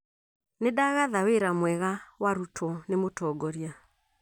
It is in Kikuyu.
Nĩ ndagatha wira mwega warutwo nĩ mũtongoria